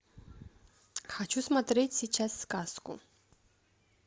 хочу смотреть сейчас сказку